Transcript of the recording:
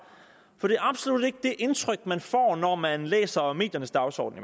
for det er absolut ikke det indtryk man får når man læser mediernes dagsorden